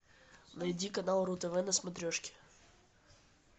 найди канал ру тв на смотрешке